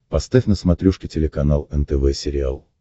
поставь на смотрешке телеканал нтв сериал